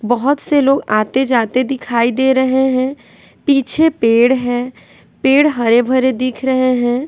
बहुत से लोग आते-जाते दिखाई दे रहे हैं पीछे पेड़ है पेड़ हरे भरे दिख रहे हैं।